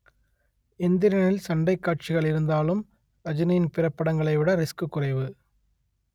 எந்திரனில் சண்டைக் காட்சிகள் இருந்தாலும் ரஜினியின் பிற படங்களைவிட ரிஸ்க் குறைவு